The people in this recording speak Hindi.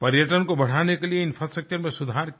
पर्यटन को बढ़ाने के लिए इंफ्रास्ट्रक्चर में सुधार किए